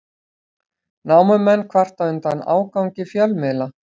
Námumenn kvarta undan ágangi fjölmiðla